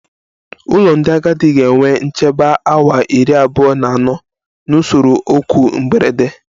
Ụlọ ndị agadi ga-enwe nchebe awa iri abuo na ano na usoro oku mberede